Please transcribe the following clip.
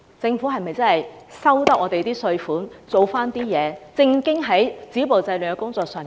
政府收取了市民的稅款，是否應該正經地做好止暴制亂的工作？